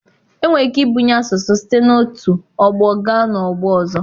Enwere ike ibunye asụsụ site n'otu ọgbọ gaa n'ọgbọ ọzọ.